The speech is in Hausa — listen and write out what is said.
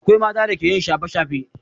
Akwai mata da ke yin shafe-shafe.